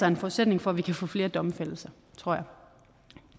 en forudsætning for at vi kan få flere domfældelser tror